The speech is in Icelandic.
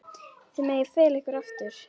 Þið megið fela ykkur aftur.